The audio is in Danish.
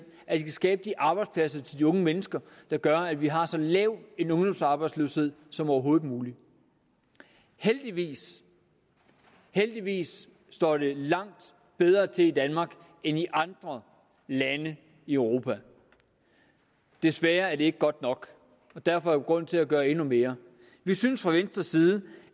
at de kan skabe de arbejdspladser til de unge mennesker der gør at vi har så lav en ungdomsarbejdsløshed som overhovedet muligt heldigvis heldigvis står det langt bedre til i danmark end i andre lande i europa desværre er det ikke godt nok derfor grund til at gøre endnu mere vi synes fra venstres side